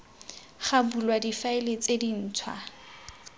ga bulwa difaele tse dintšhwa